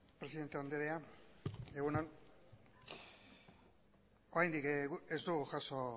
presidente andrea egun on oraindik guk ez dugu jaso